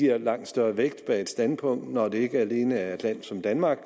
er langt større vægt bag et standpunkt når det ikke alene er et land som danmark